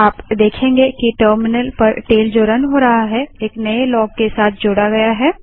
आप देखेंगे कि टर्मिनल पर टेल जो रन हो रहा है एक नए लॉग के साथ जोड़ा गया है